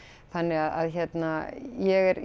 þannig að hérna ég er